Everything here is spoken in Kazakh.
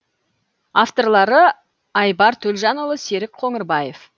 авторлары айбар төлжанұлы серік қоңырбаев